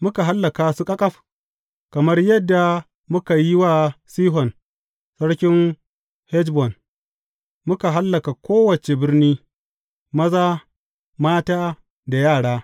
Muka hallaka su ƙaƙaf, kamar yadda muka yi wa Sihon sarkin Heshbon, muka hallaka kowace birni, maza, mata da yara.